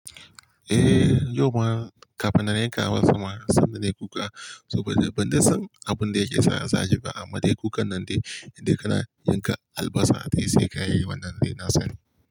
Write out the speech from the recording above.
Eh, yau ma kafin na yanka wasun ma sanda na yi kuka. Saboda ban san abun da yake sa ya shiga ama dai kukan nan dai, inda kana yanka albasa dai sai ka yi wannan dai na sani.